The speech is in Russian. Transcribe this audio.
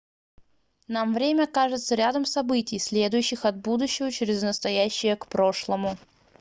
нам время кажется рядом событий следующих от будущего через настоящее к прошлому